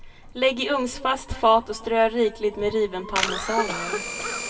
Lägg i ugnsfast fat och strö rikligt med riven parmesan över.